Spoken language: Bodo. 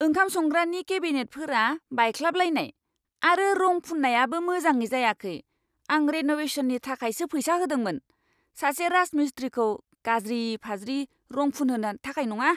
ओंखाम संग्रानि केबिनेटफोरा बायख्लाबलायनाय, आरो रं फुन्नायाबो मोजाङै जायाखै। आं रेन'वेशननि थाखायसो फैसा होदोंमोन, सासे राजमिस्त्रीखौ गाज्रि फाज्रि रं फुनहोनो थाखाय नङा!